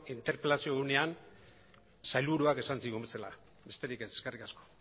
interpelazio egunean sailburuak esan zigun bezala besterik ez eskerrik asko